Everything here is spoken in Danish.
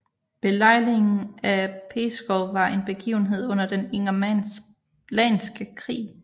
Belejringen af Pskov var en begivenhed under den ingermanlandske krig